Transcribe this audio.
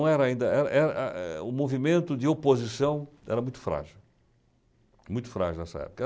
Não era ainda, era era, o movimento de oposição era muito frágil, muito frágil nessa época.